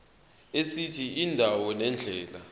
esithi indawo nendlela